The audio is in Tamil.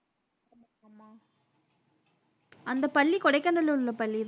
அந்தப் பள்ளி கொடைக்கானல்ல உள்ள பள்ளிதான